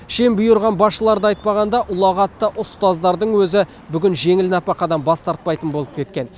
шен бұйырған басшыларды айтпағанда ұлағатты ұстаздардың өзі бүгін жеңіл нәпақадан бас тартпайтын болып кеткен